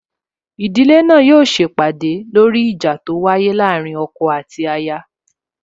Ìdílé náà yóò se ìpàdè lóri ìjà tó wáyé láàrín ọkọ àti aya